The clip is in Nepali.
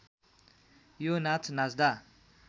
यो नाच नाच्दा